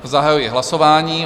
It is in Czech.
Zahajuji hlasování.